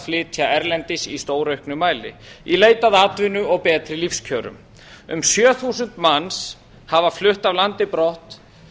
flytja erlendis í stórauknum mæli í leit að atvinnu og betri lífskjörum um sjö þúsund manns hafa flutt af landi brott